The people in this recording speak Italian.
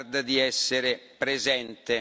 Lagarde di essere presente.